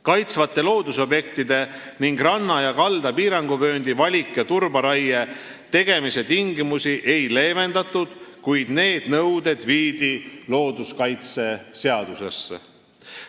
Kaitstavate loodusobjektide ning ranna ja kalda piiranguvööndi valik- ja turberaie tegemise tingimusi ei leevendatud, kuid need nõuded viidi looduskaitseseadusesse.